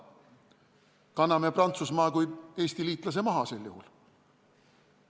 Kas kanname Prantsusmaa kui Eesti liitlase sel juhul maha?